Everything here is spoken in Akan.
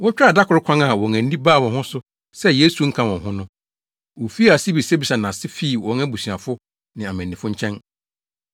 Wotwaa da koro kwan a wɔn ani baa wɔn ho so sɛ Yesu nka wɔn ho no, wofii ase bisabisaa nʼase fii wɔn abusuafo ne amannifo nkyɛn.